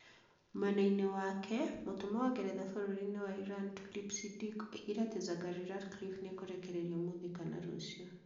Mwena-ini wake, Mũtũmwo wa Ngeretha bũrũri-inĩ wa Iran, Tulip Siddiq, oigire atĩ Zaghari-Ratcliffe nĩ ekũrekererio ũmũthĩ kana rũciũ.